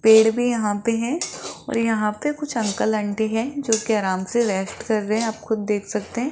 पेड़ भी यहां पे है और यहां पे कुछ अंकल आंटी है जो कि आराम से रेस्ट कर रहे है आप खुद देख सकते है।